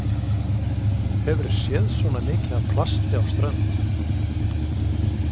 Hefurðu séð svona mikið af plasti á strönd?